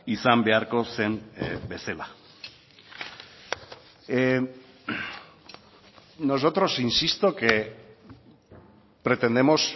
izan beharko zen bezala nosotros insisto que pretendemos